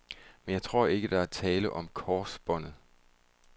Men jeg tror ikke, der er tale om korsbåndet.